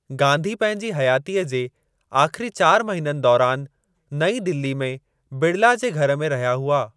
गांधी पंहिंजी हयातीअ जे आख़िरी चार महीननि दौरान नई दिल्ली में बिड़ला जे घर में रहिया हुआ।